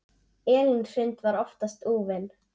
Elín Hrund var oftast úfin.